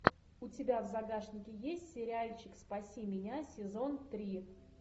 у тебя в загашнике есть сериальчик спаси меня сезон три